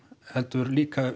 heldur líka